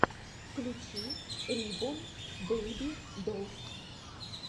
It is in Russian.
включи рибон бэйби долс